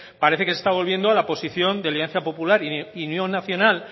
parece que se está volviendo a la posición de alianza popular y unión nacional